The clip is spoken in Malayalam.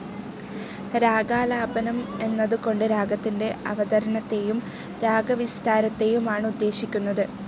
രാഗാലാപനം എന്ന്തു കൊണ്ട് രാഗത്തിന്റെ അവതരണത്തേയും രാഗവിസ്താരത്തേയും ആണ് ഉദ്ദേശിക്കുന്നത്.